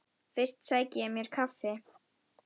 Fyrst sæki ég mér kaffi.